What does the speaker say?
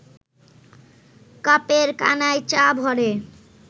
কাপের কানায় চা ভরে